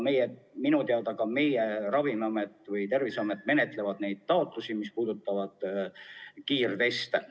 Minu teada ka meie Ravimiamet või Terviseamet menetlevad neid kiirtestide taotlusi.